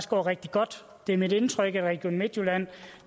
går rigtig godt det er mit indtryk at region midtjylland